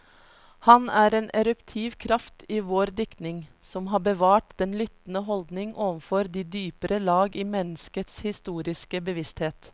Han er en eruptiv kraft i vår diktning, som har bevart den lyttende holdning overfor de dypere lag i menneskets historiske bevissthet.